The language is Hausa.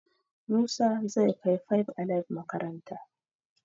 Musa zai kai five alive makaranta